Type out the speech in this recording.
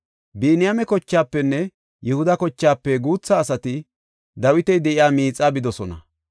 Biniyaame kochaafenne Yihuda kochaafe guutha asati Dawiti de7iya miixa bidosona.